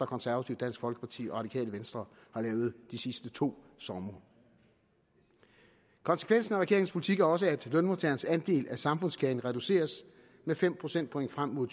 konservative dansk folkeparti og det radikale venstre har lavet de sidste to somre konsekvensen af regeringens politik er også at lønmodtagernes andel af samfundskagen reduceres med fem procentpoint frem mod